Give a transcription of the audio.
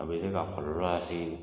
A be se ka kɔɔlɔ asee